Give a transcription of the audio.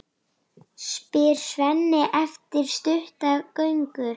spyr Svenni eftir stutta göngu.